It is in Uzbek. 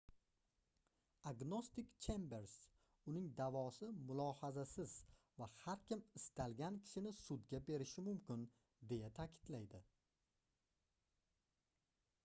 agnostik chembers uning daʼvosi mulohazasiz va har kim istalgan kishini sudga berishi mumkin - deya taʼkidlaydi